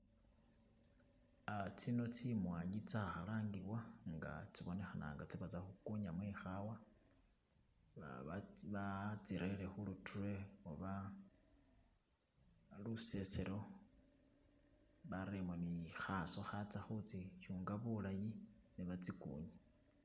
Uh tsino tsi mwanyi tsa khalangibwa nga tsibonekhana nga tsebatsa khukunyamo ekhaawa , ba batsirere khu ruture oba luseselo bareremo ne khaswa khatsa khu tsikunya bulaayi ne ba tsikunye.